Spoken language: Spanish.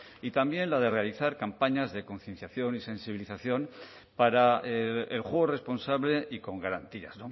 y también la de realizar campañas de concienciación y sensibilización para el juego responsable y con garantías